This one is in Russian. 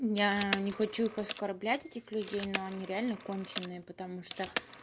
я не хочу их оскорблять этих людей но они реально конченые потому что